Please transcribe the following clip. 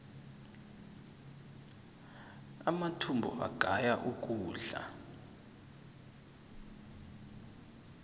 amathumbu agaya ukudla